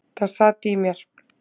Það sat í mér.